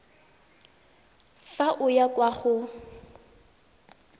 fa o ya kwa go